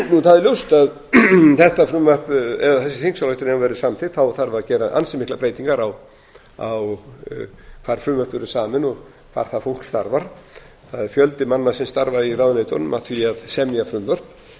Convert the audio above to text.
það er ljóst að þessi þingsályktun ef hún verður samþykkt þá þarf að gera ansi miklar breytingar á hvar frumvörp eru samin og hvar það fólk starfar það er fjöldi manna sem starfar í ráðuneytunum að því að semja frumvörp